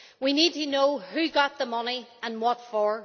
We need to know who got the money and what for.